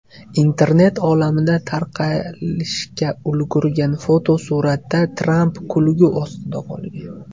Internet olamida tarqalishga ulgurgan fotosuratda Tramp kulgi ostida qolgan.